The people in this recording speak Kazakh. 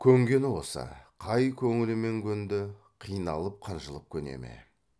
көнгені осы қай көңілімен көнді қиналып қынжылып көне ме